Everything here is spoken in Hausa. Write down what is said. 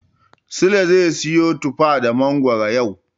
Sule zai siyo tufa da mangoro yau.